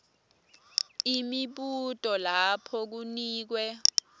imibuto lapho kunikwe